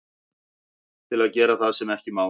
Til að gera það sem ekki má.